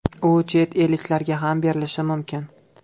U chet elliklarga ham berilishi mumkin.